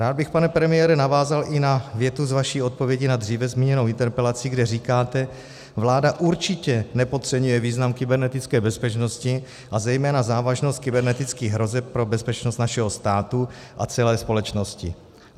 Rád bych, pane premiére, navázal i na větu z vaší odpovědi na dříve zmíněnou interpelaci, kde říkáte: Vláda určitě nepodceňuje význam kybernetické bezpečnosti a zejména závažnost kybernetických hrozeb pro bezpečnost našeho státu a celé společnosti.